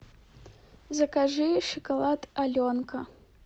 закажи шоколад аленка